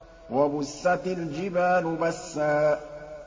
وَبُسَّتِ الْجِبَالُ بَسًّا